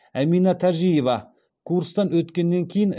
әмина тәжиева курстан өткеннен кейін